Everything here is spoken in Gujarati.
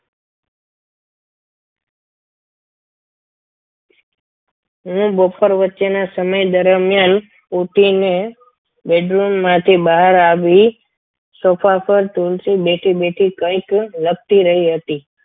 હું બપોર વચ્ચેના સમયે દરમિયાન ઊઠીને બેડરૂમમાંથી બહાર આવી સોફા પર તુલસી બેઠી બેઠી કંઈક લખી રહી હતી.